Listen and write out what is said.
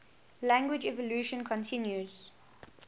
language evolution continues